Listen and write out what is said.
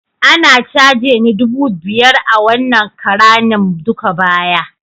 Anah ta cageni dubu biyar a wanna karanin duka baya.